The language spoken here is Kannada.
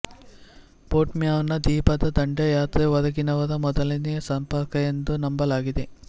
ಪೋರ್ಟ್ಮ್ಯಾನ್ನ ದ್ವೀಪದ ದಂಡಯಾತ್ರೆ ಹೊರಗಿನವರ ಮೊದಲನೆಯ ಸಂಪರ್ಕ ಎಂದು ನಂಬಲಾಗಿದೆ